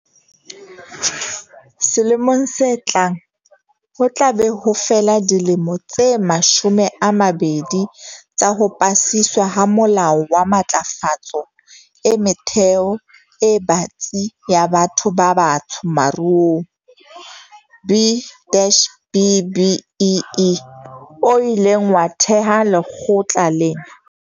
Selemong se tlang, ho tla be ho fela dilemo tse mashome a mabedi tsa ho pasiswa ha Molao wa Matlafatso e Metheo e Batsi ya Batho ba Batsho Maruong B dash BBEE o ileng wa theha lekgotla lena.